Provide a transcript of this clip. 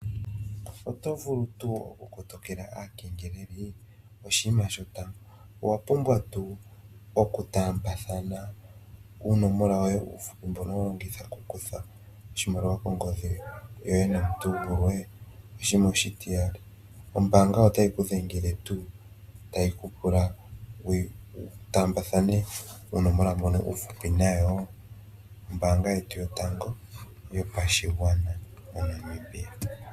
Oto vulu tuu oku kotokela aakengeleli? Oshima shotango. Owa pumbwa tuu oku tambathana uunomola woye uuhupi mbono ho longitha oku kutha oshimaliwa kongodhi yoye nomuntu gulwe? Oshima oshitiyali. Ombaga otayi ku dhengele tuu tayi ku pula wu taambathane uunomola mbono uuhupi nayo? Ombanga yetu yotango moNamibia.